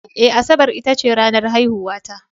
Eh, Asabar ita ce ranar haihuwata